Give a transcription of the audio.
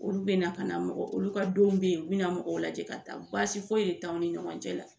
Olu bɛ na ka na mɔgɔ olu ka donw bɛ yen u bɛ na mɔgɔw lajɛ ka taa baasi foyi de t'anw ni ɲɔgɔn cɛ la